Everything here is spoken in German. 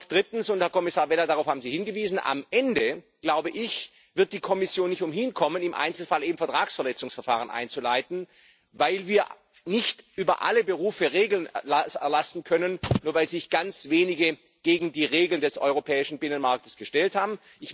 Drittens Herr Kommissar Vella, darauf haben Sie hingewiesen Am Ende wird die Kommission nicht umhinkommen, im Einzelfall eben Vertragsverletzungsverfahren einzuleiten, weil wir nicht über alle Berufe Regeln erlassen können, nur weil sich ganz wenige gegen die Regeln des europäischen Binnenmarkts gestellt haben.